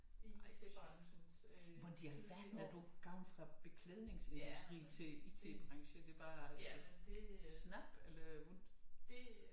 Ej hvor sjovt hvordan i alverden er du gået fra beklædningsindustrien til IT-branchen er det bare snap eller hvordan